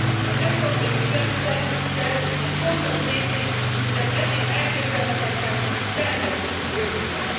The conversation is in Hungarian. Az európai stresszteszt egy fontos lépés, hogy az eddig elképzelhetetlent tervezzük a jövőben.